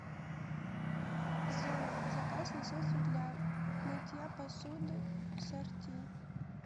сделай заказ на средство для мытья посуды сорти